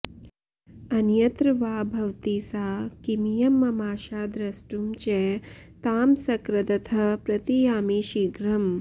अन्यत्र वा भवति सा किमियं ममाशा द्रष्टुं च तां सकृदतः प्रतियामि शीघ्रम्